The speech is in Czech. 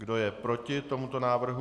Kdo je proti tomuto návrhu?